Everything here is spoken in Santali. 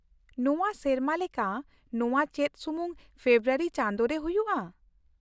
ᱱᱚᱶᱟ ᱥᱮᱨᱢᱟ ᱞᱮᱠᱟ ᱱᱚᱶᱟ ᱪᱮᱫ ᱥᱩᱢᱩᱝ ᱯᱷᱮᱵᱨᱟᱣᱨᱤ ᱪᱟᱸᱫᱚ ᱨᱮ ᱦᱩᱭᱩᱜᱼᱟ ?